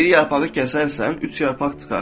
Bir yarpağı kəsərsən, üç yarpaq çıxar.